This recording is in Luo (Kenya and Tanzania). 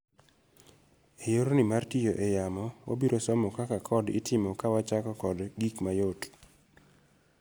Eyorni mar tiyo eyamo, wabiro somo kaka code itimo kawachako kod gik mayot.